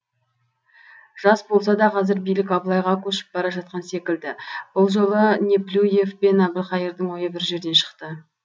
жас болса да қазір билік абылайға көшіп бара жатқан секілді бұл жолы неплюев пен әбілқайырдың ойы бір жерден шықты